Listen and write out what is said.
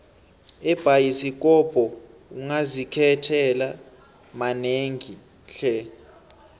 ebhayisikopo ungazikhethela manengi tle